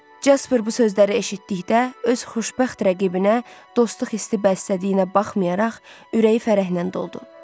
Jasper bu sözləri eşitdikdə öz xoşbəxt rəqibinə dostluq hissi bəslədiyinə baxmayaraq, ürəyi fərəhnən doldu.